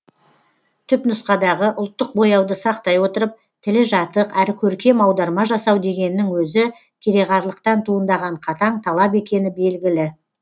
түпнұсқадағы ұлттық бояуды сақтай отырып тілі жатық әрі көркем аударма жасау дегеннің өзі кереғарлықтан туындаған қатаң талап екені белгілі